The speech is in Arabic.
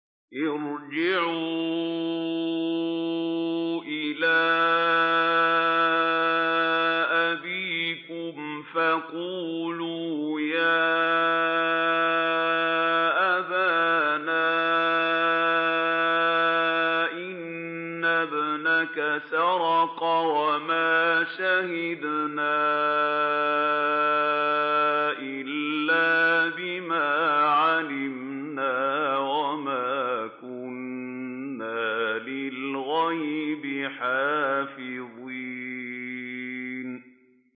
ارْجِعُوا إِلَىٰ أَبِيكُمْ فَقُولُوا يَا أَبَانَا إِنَّ ابْنَكَ سَرَقَ وَمَا شَهِدْنَا إِلَّا بِمَا عَلِمْنَا وَمَا كُنَّا لِلْغَيْبِ حَافِظِينَ